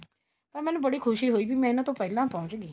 ਤਾਂ ਮੈਨੂੰ ਬਹੁਤ ਖੁਸ਼ੀ ਹੋਈ ਬੀ ਇਹਨਾ ਤੋਂ ਪਹਿਲਾਂ ਪਹੁੰਚਗੀ